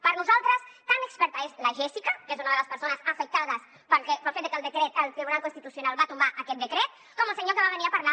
per nosaltres tan experta és la jèssica que és una de les persones afectades pel fet de que el tribunal constitucional va tombar aquest decret com el senyor que va venir a parlar